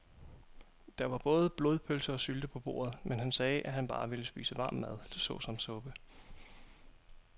Der var både blodpølse og sylte på bordet, men han sagde, at han bare ville spise varm mad såsom suppe.